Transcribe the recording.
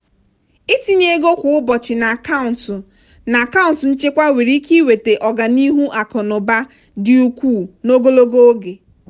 ịtinye ego kwa ụbọchị n'akaụntụ n'akaụntụ nchekwa nwere ike iweta ọganihu akụ na ụba dị ukwuu n'ogologo oge.